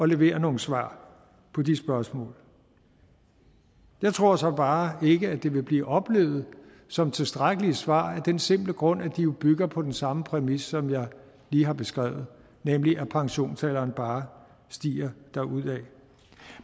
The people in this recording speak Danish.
levere nogle svar på de spørgsmål jeg tror så bare ikke at det vil blive oplevet som tilstrækkelige svar af den simple grund at de jo bygger på den samme præmis som jeg lige har beskrevet nemlig at pensionsalderen bare stiger derudad